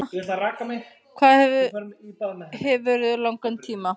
Hvað hefurðu langan tíma?